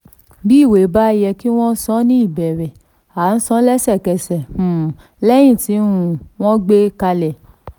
bí ìwé bá yẹ kí wọ́n san ní ìbéèrè a san lẹ́sẹ̀kẹsẹ̀ um lẹ́yìn tí um wọ́n gbé kalẹ̀.